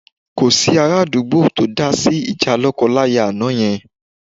Kò sí ara àdúgbò tó dá sí ìjà lọ́kọláya àná yẹn